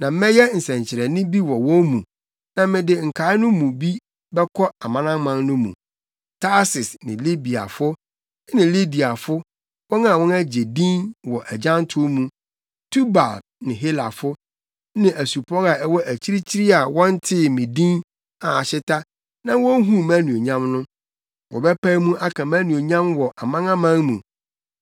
“Na mɛyɛ nsɛnkyerɛnne bi wɔ wɔn mu, na mede nkae no mu bi bɛkɔ amanaman no mu: Tarsis, Libiafo ne Lidiafo (wɔn a wɔagye din wɔ agyantow mu), Tubal ne Helafo, ne asupɔw a ɛwɔ akyirikyiri a wɔntee me din a ahyeta na wonhuu mʼanuonyam no. Wɔbɛpae mu aka mʼanuonyam wɔ amanaman mu.